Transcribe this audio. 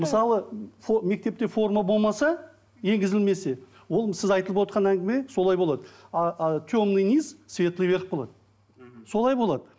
мысалы мектепте форма болмаса енгізілмесе ол сіз айтылып отырған әңгіме солай болады темный низ светлый верх болады мхм солай болады